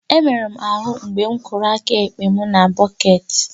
M merụrụ ahụ mgbe m kụrụ aka ekpe m na bọket